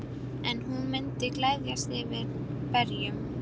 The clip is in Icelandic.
En hún myndi gleðjast yfir berjunum.